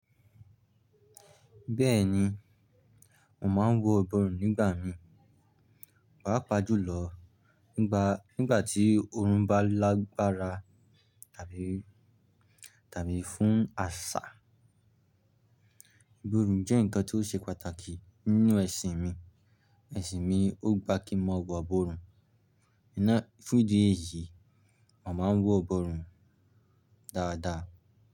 Bẹ́ẹ̀ni. Mo máa m wọ iborun nígbà mí. Pàápàá jùlọ nígbà tí orun bá lágbára tàbí, tàbí fún àṣà. Iborun jẹ́ ǹkan tó ṣe pàtàkì nínú ẹ̀sìn mi. Ẹ̀sìn mi ó gbá kí mọ wọ iborun. Náa fún ìdí èyí, a màá ń wọ iborun dáadáa.